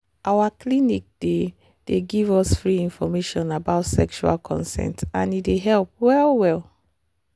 our clinic dey dey give us free information about sexual consent and e dey help well well.